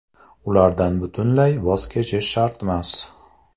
Ulardan butunlay voz kechish shartmas.